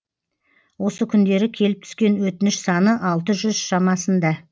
осы күндері келіп түскен өтініш саны алты жүз шамасында